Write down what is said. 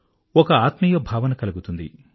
ఒక ఆత్మీయభావన కలుగుతుంది